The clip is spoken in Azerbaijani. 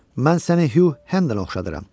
Mən səni Hü Hendon oxşadıram.